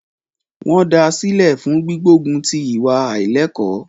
Wọ́n da sílẹ̀ fún gbígbógun ti ìwà àílẹ́ẹ̀kọ́.